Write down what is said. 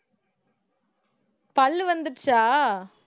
பல்லு வந்திடுச்சா